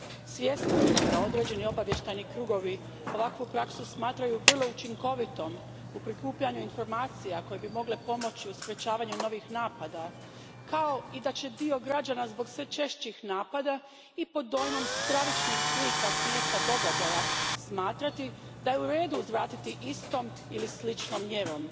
Svjesna sam da određeni obavještajni krugovi ovakvu praksu smatraju vrlo učinkovitom u prikupljanju informacija koje bi mogle pomoći u sprječavanju novih napada, kao i da će dio građana zbog sve češćih napada i pod dojmom stravičnih slika s mjesta događaja smatrati da je u redu uzvratiti istom ili sličnom mjerom.